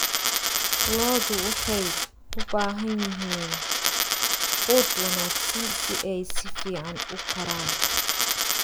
Lo'du waxay u baahan yihiin quud wanaagsan si ay si fiican u koraan.